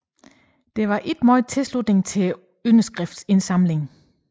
Der var mager tilslutning til underskriftindsamlingen